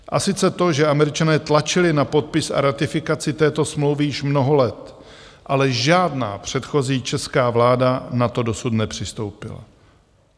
A sice to, že Američané tlačili na podpis a ratifikaci této smlouvy již mnoho let, ale žádná předchozí česká vláda na to dosud nepřistoupila.